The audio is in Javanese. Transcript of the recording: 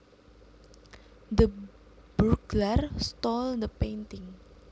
The burglar stole the painting